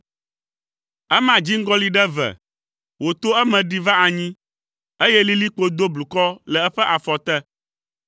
Ema dziŋgɔli ɖe eve, wòto eme ɖi va anyi, eye lilikpo do blukɔ le eƒe afɔ te.